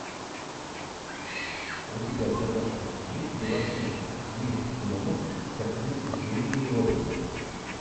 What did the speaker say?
у тебя в загашнике есть белоснежка месть гномов с актрисой джулией робертс